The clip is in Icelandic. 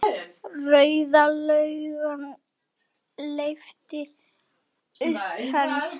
Rauða löggan lyftir upp hönd.